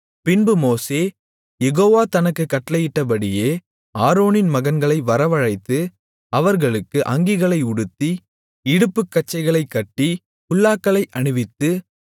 பின்பு மோசே யெகோவா தனக்குக் கட்டளையிட்டபடியே ஆரோனின் மகன்களை வரவழைத்து அவர்களுக்கு அங்கிகளை உடுத்தி இடுப்புக்கச்சைகளைக் கட்டி குல்லாக்களை அணிவித்து